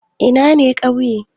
Ina ne ƙauye?